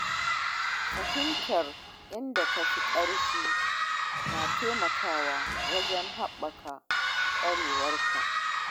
Fahimtar inda ka fi ƙarfi na taimakawa wajen haɓaka ƙwarewarka.